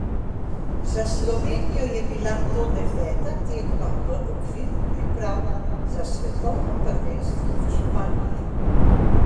Za Slovenijo je bila to deveta tekma v okviru priprav za svetovno prvenstvo v Španiji.